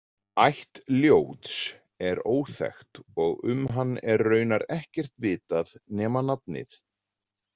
Ætt Ljóts er óþekkt og um hann er raunar ekkert vitað nema nafnið.